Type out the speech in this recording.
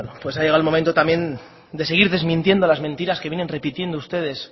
ha llegado el momento también de seguir desmintiendo las mentiras que vienen repitiendo ustedes